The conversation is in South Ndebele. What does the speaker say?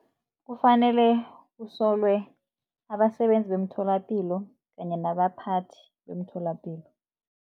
Kufanele usolelwe abasebenzi beemtholapilo kanye nabaphathi bemtholapilo.